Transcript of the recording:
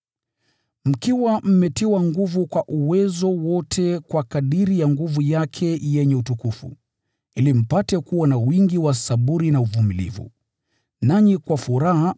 mkiwa mmetiwa nguvu kwa uwezo wote kwa kadiri ya nguvu yake yenye utukufu, ili mpate kuwa na wingi wa saburi na uvumilivu. Nanyi kwa furaha